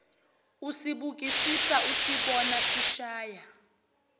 usibukisisa usibona sishaya